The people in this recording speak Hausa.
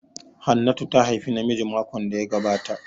Hannatu ta haifi namiji makon da ya gabata